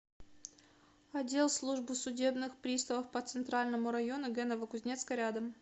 отдел службы судебных приставов по центральному району г новокузнецка рядом